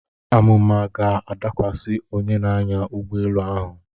Àmụ̀mà ga-adakwasị onye na-anya ụgbọelu ahụ.